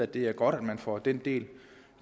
det er godt at man får den del